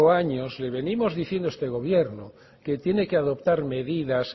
años le venimos diciendo a este gobierno que tiene que adoptar medidas